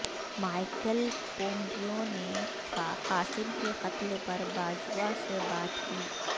Michael Pompeo نے Qasem کے قتل پر باجوہ سے بات کی